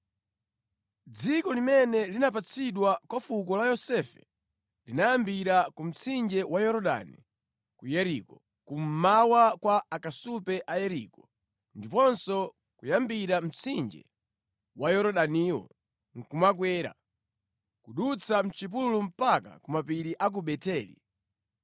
Dziko limene linapatsidwa kwa fuko la Yosefe linayambira ku mtsinje wa Yorodani ku Yeriko, kummawa kwa akasupe a Yeriko, ndiponso kuyambira mtsinje wa Yorodaniwo nʼkumakwera, kudutsa mʼchipululu mpaka ku mapiri a ku Beteli.